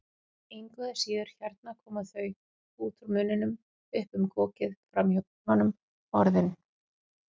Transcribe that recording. Engu að síður, hérna koma þau, út úr munninum, upp um kokið, framhjá tönnunum, Orðin.